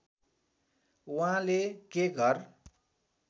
उहाँले के घर